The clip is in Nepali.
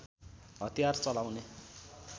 हतियार चलाउने